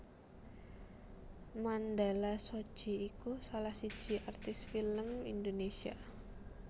Mandala Shoji iku salah siji artis film Indonesia